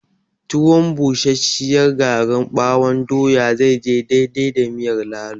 Tuwon busasshiyar garin ɓawon doya zai je daidai da miyar lalo